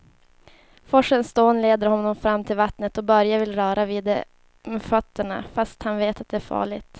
Forsens dån leder honom fram till vattnet och Börje vill röra vid det med fötterna, fast han vet att det är farligt.